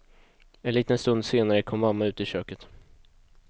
En liten stund senare kom mamma ut i köket.